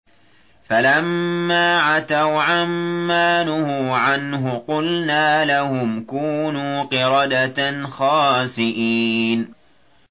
فَلَمَّا عَتَوْا عَن مَّا نُهُوا عَنْهُ قُلْنَا لَهُمْ كُونُوا قِرَدَةً خَاسِئِينَ